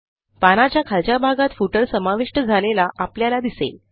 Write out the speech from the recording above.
पानाच्या खालच्या भागात Footerसमाविष्ट झालेला आपल्याला दिसेल